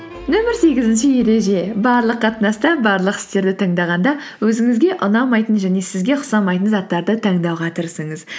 нөмір сегізінші ереже барлық қатынаста барлық істерді таңдағанда өзіңізге ұнамайтын және сізге ұқсамайтын заттарды таңдауға тырысыңыз